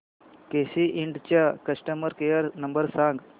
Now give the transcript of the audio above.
केसी इंड चा customer care number सांग